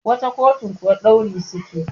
wata kotun kuwa dauri suke